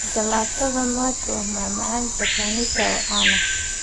Jalaatada Matcha waa macmacaan Japanese ah oo caan ah.